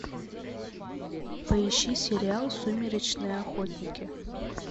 поищи сериал сумеречные охотники